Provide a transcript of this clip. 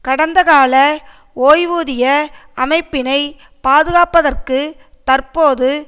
கடந்த கால ஓய்வூதிய அமைப்பினை பாதுகாப்பதற்கு தற்போது